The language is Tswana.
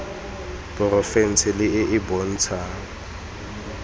porofense le e e bontshang